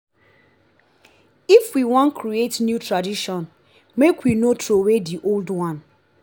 if we wan create new new tradition make we no troway di old one.